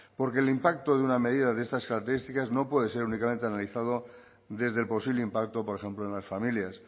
porque el impacto de una medida de estas características no puede ser únicamente analizado desde el posible impacto por ejemplo en las familias